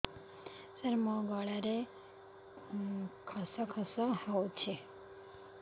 ସାର ମୋ ଗଳାରେ ଖସ ଖସ ହଉଚି